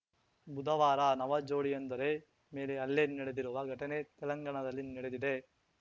ಬುಧವಾರ ನವ ಜೋಡಿಯೊಂದರೆ ಮೇಲೆ ಹಲ್ಲೆ ನಡೆದಿರುವ ಘಟನೆ ತೆಲಂಗಾಣದಲ್ಲಿ ನೆಡೆದಿದೆ